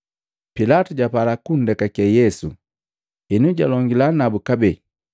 Pilatu japala kundekake Yesu, henu jalongila nabu kabee.